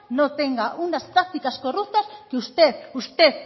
no tenga unas prácticas corruptas que usted usted